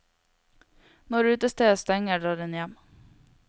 Når utestedet stenger, drar hun hjem.